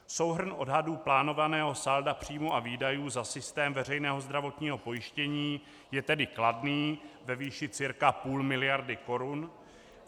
Souhrn odhadů plánovaného salda příjmů a výdajů za systém veřejného zdravotního pojištění je tedy kladný, ve výši cirka půl miliardy korun.